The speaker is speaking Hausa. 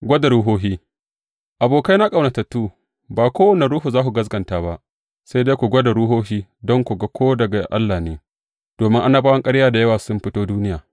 Gwada ruhohi Abokaina ƙaunatattu, ba kowane ruhu za ku gaskata ba, sai dai ku gwada ruhohi don ku ga ko daga Allah ne, domin annabawan ƙarya da yawa sun fito duniya.